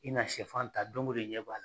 I na shɛfan ta don o don i ɲɛ b'a la.